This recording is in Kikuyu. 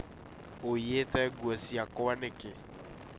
ũĩyite nguo ciakwa nĩkĩ?